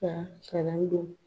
Ka kalan don